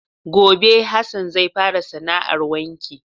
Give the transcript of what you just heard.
Gobe Hassan zai fara sana 'ar wanki.